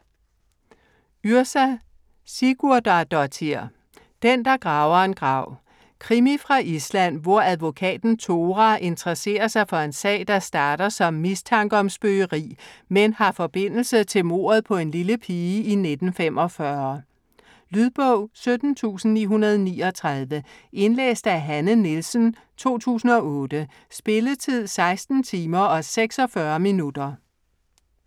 Yrsa Sigurðardóttir: Den der graver en grav Krimi fra Island, hvor advokaten Thora interesserer sig for en sag, der starter som mistanke om spøgeri, men har forbindelse til mordet på en lille pige i 1945. Lydbog 17939 Indlæst af Hanne Nielsen, 2008. Spilletid: 14 timer, 46 minutter.